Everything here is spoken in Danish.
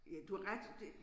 Ja du har ret det